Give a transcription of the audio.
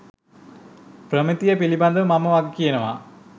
ප්‍රමිතිය පිළිබඳ මම වගකියනවා.